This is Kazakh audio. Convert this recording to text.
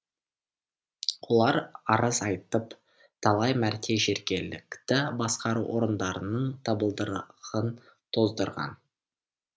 олар арыз айтып талай мәрте жергілікті басқару орындарының табалдырығын тоздырған